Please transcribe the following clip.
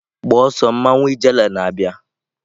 Gbaa ọsọ mmawu ijele na-abịa!